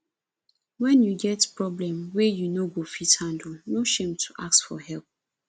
wen you get problem wey you no fit handle no shame to ask for help